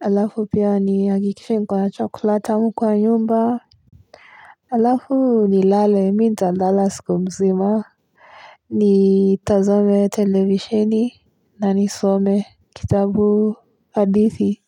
Alafu pia nihakikise nko na chocolate kwa nyumba alafu nilale mi ntalala siku mzima. Ni tazame televisheni na nisome kitabu adithi.